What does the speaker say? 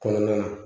Kɔnɔna na